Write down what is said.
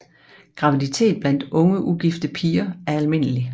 Graviditet blandt unge ugifte piger er almindelig